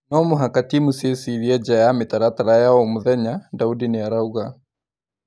"No mũhaka timu ciĩcirie nja ya mĩtaratara ya o mũthenya," Daudi nĩarauga.